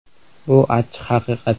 Bu – achchiq haqiqat.